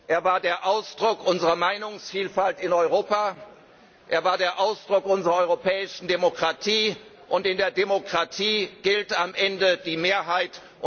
Er war der Ausdruck unserer Meinungsvielfalt in Europa, er war der Ausdruck unserer europäischen Demokratie, und in der Demokratie gilt am Ende die Mehrheit.